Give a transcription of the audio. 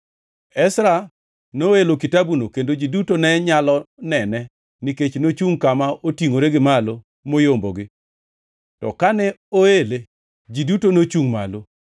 Ezra noelo kitabuno kendo ji duto ne nyalo nene nikech nochungʼ kama otingʼore gi malo moyombogi; to kane oele, ji duto nochungʼ malo.